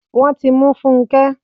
Wọ́n ti mú Funke